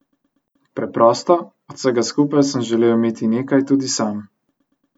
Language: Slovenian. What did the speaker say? Preprosto, od vsega skupaj sem želel imeti nekaj tudi sam.